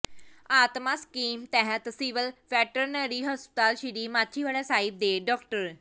ਆਤਮਾ ਸਕੀਮ ਤਹਿਤ civil veterinary ਹਸਪਤਾਲ ਸ੍ਰੀ ਮਾਛੀਵਾੜਾ ਸਾਹਿਬ ਦੇ ਡਾ